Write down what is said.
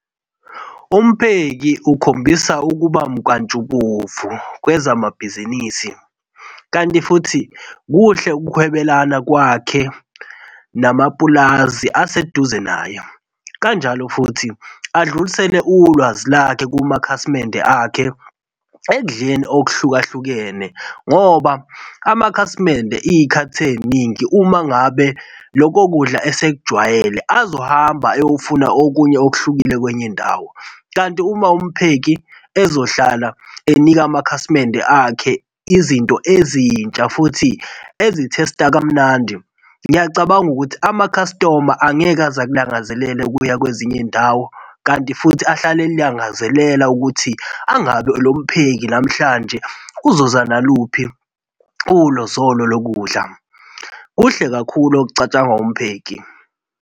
Umpheki ukhombisa ukuba mkantshubovu kwezamabhizinisi, kanti futhi kuhle ukuhwebelana kwakhe namapulazi aseduze naye. Kanjalo futhi adlulisele ulwazi lakhe kumakhasimende akhe ekudleni okuhlukahlukene ngoba amakhasimende izikhathi eziningi uma ngabe lokho kudla esekujwayele azohamba eyofuna okunye okuhlukile kwenye indawo kanti uma umpheki ezohlala enika amakhasimende akhe izinto ezintsha futhi ezi-taste-a kamnandi, ngiyacabanga ukuthi amakhastoma angeke aze akulangazelele ukuya kwezinye izindawo kanti futhi ahlale elangazelela ukuthi angabe lompheki namhlanje uzoza naluphi ulozolo lokudla. Kuhle kakhulu okucatshangwa umpheki.